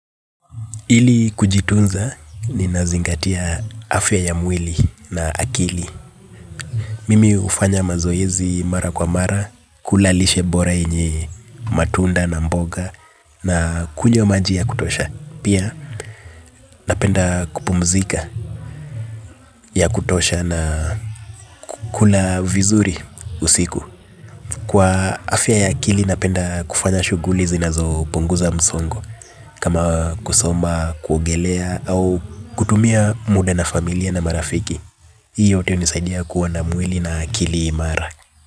Ili kujitunza ni nazingatia afya ya mwili na akili. Mimi hufanya mazoezi mara kwa mara. Kula lishe bora yenye matunda na mboga. Na kunywa maji ya kutosha. Pia napenda kupumzika ya kutosha na kula vizuri usiku. Kwa afya ya akili napenda kufanya shughuli zinazo punguza msongo. Kama kusoma, kuogelea au kutumia muda na familia na marafiki. Hii yote hunisaidia kuwa na mwili na akili imara.